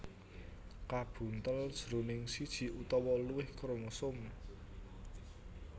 kabuntel jroning siji utawa luwih kromosom